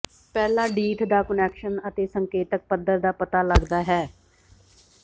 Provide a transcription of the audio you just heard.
ਪਹਿਲਾਂ ਡੀਥ ਦਾ ਕੁਨੈਕਸ਼ਨ ਅਤੇ ਸੰਕੇਤਕ ਪੱਧਰ ਦਾ ਪਤਾ ਲੱਗਦਾ ਹੈ